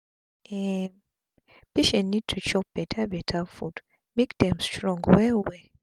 um patient need to chop beta beta food make dem strong well well